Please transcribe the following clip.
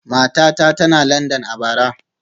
Matata tana Landan a bara